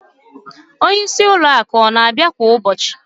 Onyeisi ụlọ akụ ọ na-abịa kwa ụbọchị?